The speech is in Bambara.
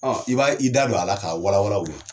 i b'a ye i da dɔ a la ka walawala o ye.